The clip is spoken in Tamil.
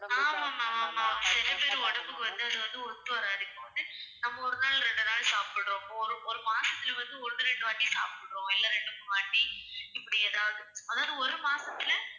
ஆமா ma'am, ஆமா. சிலபேர் உடம்புக்கு வந்து அதுவந்து ஒத்துவராது. இப்போ வந்து நம்ம ஒரு நாள், ரெண்டு நாள் சாப்பிடுறோம். ஒரு மாசத்துல வந்து ஒரு ரெண்டு வாட்டி சாப்பிடுறோம் இல்ல ரெண்டு, மூணுவாட்டி இப்படி எதாவது இப்போ வந்து,